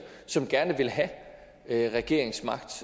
som gerne vil have have regeringsmagt